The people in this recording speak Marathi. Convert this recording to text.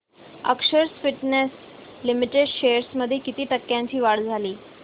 अक्षर स्पिनटेक्स लिमिटेड शेअर्स मध्ये किती टक्क्यांची वाढ झाली